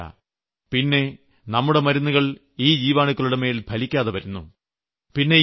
അതുമാത്രമല്ല പിന്നെ നമ്മുടെ മരുന്നുകൾ ഈ ജീവാണുക്കളുടെമേൽ ഫലിക്കാതെ വരുന്നു